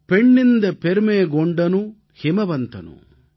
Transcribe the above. பெண்ணிந்த பெர்மேகோGண்டனு ஹிமவந்தனு